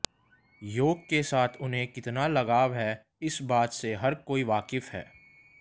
योग के साथ उन्हें कितना लगाव है इस बात से हर कोई वाकिफ है